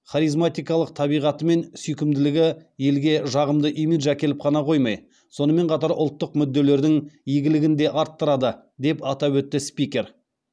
харизматикалық табиғаты мен сүйкімділігі елге жағымды имидж әкеліп қана қоймай сонымен қатар ұлттық мүдделердің игілігін де арттырды деп атап өтті спикер